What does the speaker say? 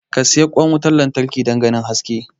ka siyi kwan wutar lantarki don ganin haske